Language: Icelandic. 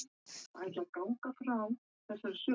Hún kinkar til hans kolli, og á meðan